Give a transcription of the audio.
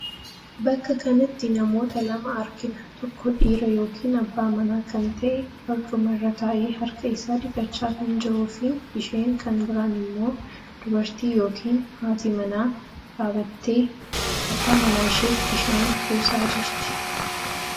Bakka kanatti namoota lama argina. Tokko dhiira yookiin abbaa manaa kan ta'e barcuma irra taa'ee harka isaa dhiqachaa kan jiruu fi isheen kan biraan immoo dubartii yookiin haati mana dhaabbatee abbaa manaa isheef bishaan buusaa jirti.